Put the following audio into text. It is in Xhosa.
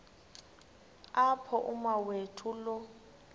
apho umawethu lo